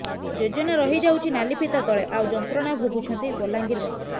ଯୋଜନା ରହି ଯାଉଛି ନାଲିଫିତା ତଳେ ଆଉ ଯନ୍ତ୍ରଣା ଭୋଗୁଛନ୍ତି ବଲାଙ୍ଗୀରବାସୀ